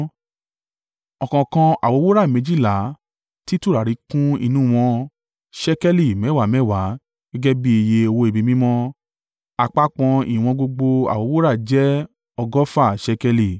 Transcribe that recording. Ọ̀kọ̀ọ̀kan àwo wúrà méjìlá tí tùràrí kún inú wọn ṣékélì mẹ́wàá mẹ́wàá gẹ́gẹ́ bí iye owó ibi mímọ́. Àpapọ̀ ìwọ̀n gbogbo àwo wúrà jẹ́ ọgọ́fà ṣékélì.